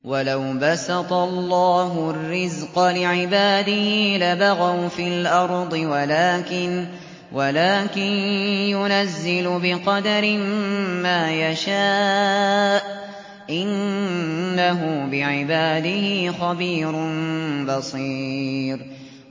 ۞ وَلَوْ بَسَطَ اللَّهُ الرِّزْقَ لِعِبَادِهِ لَبَغَوْا فِي الْأَرْضِ وَلَٰكِن يُنَزِّلُ بِقَدَرٍ مَّا يَشَاءُ ۚ إِنَّهُ بِعِبَادِهِ خَبِيرٌ بَصِيرٌ